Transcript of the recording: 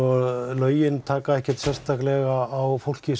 lögin taka ekkert sérstaklega á fólki